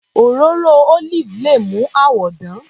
Òróró olive le mú àwọ dán.